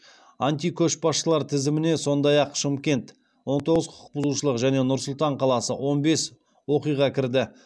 антикөшбасшылар тізіміне сондай ақ шымкент және нұр сұлтан қаласы кірді